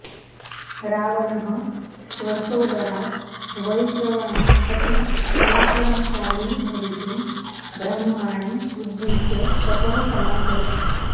रावणः स्वसोदरात् वैश्रवणात् अपि पराक्रमशाली भवितुं ब्रह्माणम् उद्दिश्य तपः समाचरत्